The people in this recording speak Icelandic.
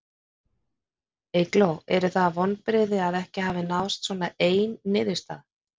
Eygló, eru það vonbrigði að ekki hafi náðst svona ein niðurstaða?